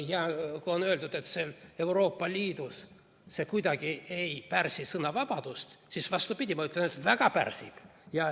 Ja kui on öeldud, et Euroopa Liidus see kuidagi ei pärsi sõnavabadust, siis vastupidi, ma ütlen, et vägagi pärsib.